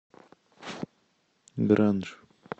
гранж